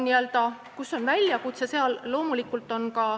Siin on ka üks selline slaid.